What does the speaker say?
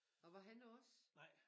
Og var han også?